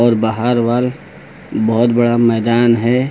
और बाहरवाल बहुत बड़ा मैदान है।